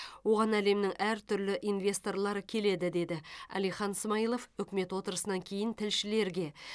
оған әлемнің әртүрлі инвесторлары келеді деді әлихан смайылов үкімет отырысынан кейін тілшілерге